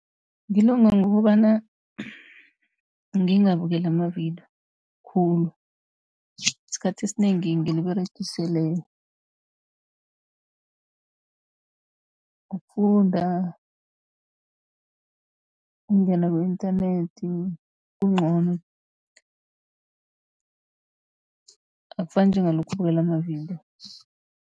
Ngilonga ngokobana ngingabukeli amavidiyo khulu, isikhathi esinengi ngiliberegisele ukufunda, ukungena ku-inthanethi kuncono akufani njengalokha ubukela amavidiyo.